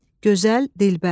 gözəl, dilbər.